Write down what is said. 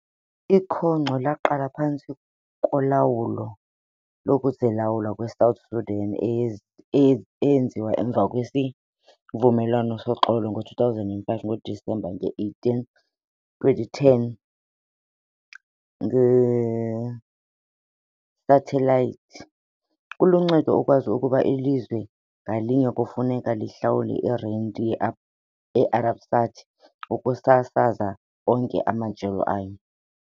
Ikhonkco laqala phantsi kolawulo lokuzilawula kweSouth Sudan, eye eye eyenziwe emva kwesivumelwano soxolo ngo-2005, ngoDisemba 18, 2010 ngesathelayithi. Kuluncedo ukwazi ukuba ilizwe ngalinye kufuneka lihlawule irenti ye-Arabsat ukusasaza onke amajelo ayo.